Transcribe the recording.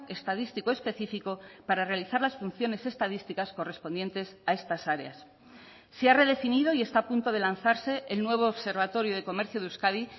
estadístico específico para realizar las funciones estadísticas correspondientes a estas áreas se ha redefinido y está a punto de lanzarse el nuevo observatorio de comercio de euskadi